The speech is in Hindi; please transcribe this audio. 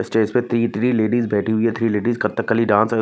इस स्टेज पे थ्री थ्री लेडीज बेठी हुइ है थ्री लेडीज कत्थकली डांस --